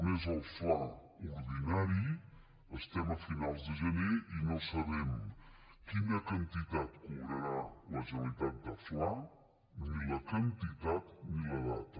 un és el fla ordinari estem a finals de gener i no sabem quina quantitat cobrarà la generalitat de fla ni la quantitat ni la data